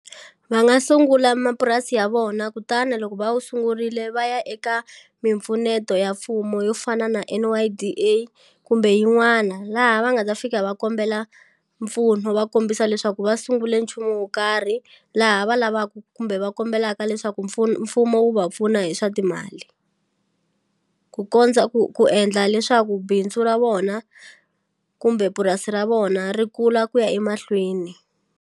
Va nga sungula mapurasi ya vona kutani loko va wu sungurile va ya eka mimpfuneto ya mfumo yo fana na N_Y_D_A kumbe yin'wana laha va nga ta fika va kombela mpfuno va kombisa leswaku va sungule nchumu wo karhi laha va lavaku kumbe va kombelaka leswaku mfumo wu va pfuna hi swa timali ku kondza ku ku endla leswaku bindzu ra vona kumbe purasi ra vona ri kula ku ya emahlweni.